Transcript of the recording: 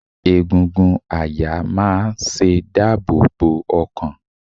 Egungun àyà máa ṣe dáàbò bo ọkàn.